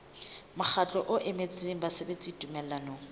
mokgatlo o emetseng basebeletsi tumellanong